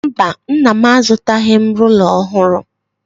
Mba, Nna m azụtaghị m rula ọhụrụ.